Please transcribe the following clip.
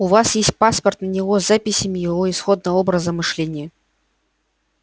у вас есть паспорт на него с записями его исходного образа мышления